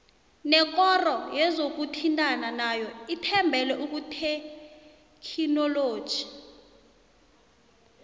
nekoro yezokuthintana nayo ithembele kuthekhinoloji